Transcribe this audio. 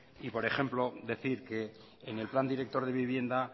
y por ejemplo decir que en el plan director de vivienda